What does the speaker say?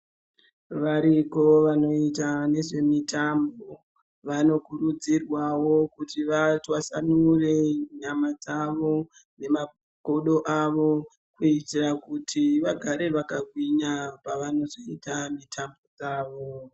Variko vanoita nezvemotambo vanokurudzirwawo kuti vatwasanure nyama dzawo nemagodo avo kuitira kuti vagare vakagwinya pavanozoita mitambo yavo.